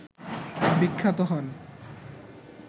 বিখ্যাত হন